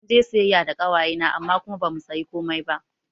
Munje siyayya da ƙawaye na amma kuma bamu sayi komai ba